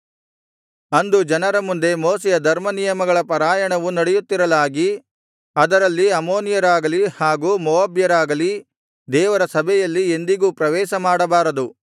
ಅಂದು ಜನರ ಮುಂದೆ ಮೋಶೆಯ ಧರ್ಮನಿಯಮಗಳ ಪಾರಾಯಣವು ನಡೆಯುತ್ತಿರಲಾಗಿ ಅದರಲ್ಲಿ ಅಮ್ಮೋನಿಯರಾಗಲಿ ಹಾಗು ಮೋವಾಬ್ಯರಾಗಲಿ ದೇವರ ಸಭೆಯಲ್ಲಿ ಎಂದಿಗೂ ಪ್ರವೇಶಮಾಡಬಾರದು